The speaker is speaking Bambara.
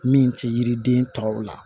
Min tɛ yiriden tɔw la